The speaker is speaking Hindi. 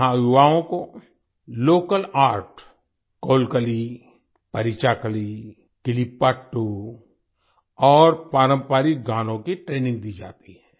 यहाँ युवाओं को लोकल आर्ट कोलकली परीचाकली किलिप्पाट्ट और पारंपरिक गानों की ट्रेनिंग दी जाती है